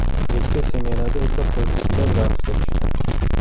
Kechki smenada esa qo‘shiq kuylab, raqsga tushdi.